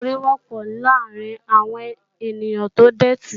Iná orí wọ́pọ̀ láàárín àwọn ènìyàn tó dòtí